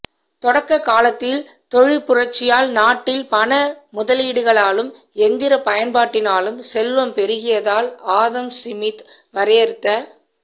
தொடக்க்க காலத்தில் தொழிற்புரட்சியால் நாட்டில் பண முதலீடுகளாலும்யந்திரப் பயன்பாட்டினாலும் செல்வம் பெருகியதால் ஆதம் சிமித் வரையறுத்த